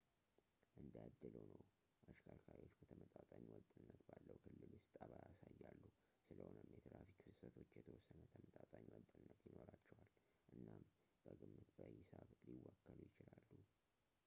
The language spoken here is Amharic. እንደ እድል ሆኖ ፣ አሽከርካሪዎች በተመጣጣኝ ወጥነት ባለው ክልል ውስጥ ጠባይ ያሳያሉ፡ ስለሆነም የትራፊክ ፍሰቶች የተወሰነ ተመጣጣኝ ወጥነት ይኖራቸዋል እናም በግምት በሂሳብ ሊወከሉ ይችላሉ